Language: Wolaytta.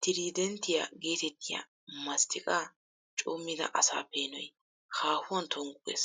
Tiriidenttiya geetettiya masttiqaa coommida asa peenoy hahuwan tonggu gees.